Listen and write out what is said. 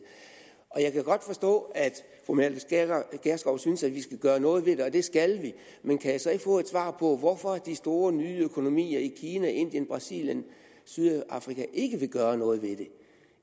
jeg kan godt forstå at fru mette gjerskov synes at vi skal gøre noget ved det og det skal vi men kan jeg så ikke få et svar på hvorfor de store nye økonomier kina indien brasilien sydafrika ikke vil gøre noget ved det